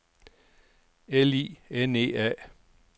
L I N E A